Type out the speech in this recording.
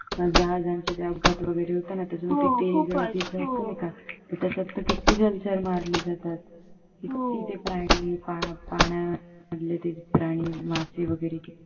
जहाजांचे ते अपघात वगैरे होता ना तर त्याच्यात तर किती जलचर मारले जातात किती तर प्राणी पाण्यामधले प्राणी मासे ते किती